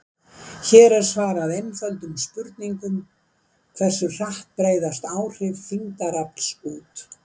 Hér er svarað eftirtöldum spurningum: Hversu hratt breiðast áhrif þyngdarafls út?